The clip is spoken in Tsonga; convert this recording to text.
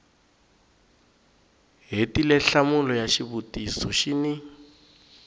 hetile nhlamulo ya xivutiso xin